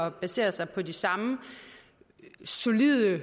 at basere sig på de samme solide